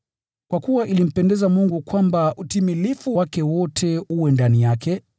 Kwa kuwa ilimpendeza Mungu kwamba utimilifu wake wote ukae ndani yake,